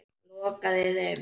Lokaði þeim.